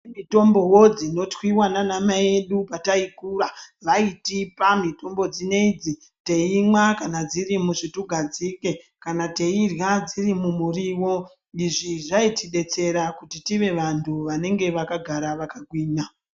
Kune mitombovo dzinotwiva nana mai edu pataikura vaitipa mitombo dzineidzi teimwa kana dzirimusvutugadzike, kana teirya kana dziri mumurivo. Izvi zvaitidetsera kuti tive vantu vanenge vakagara vakagwinya.